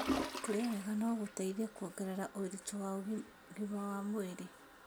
Kũrĩa wega no gũteithie kuongerera ũritũ wa ũgima wa mwĩrĩ.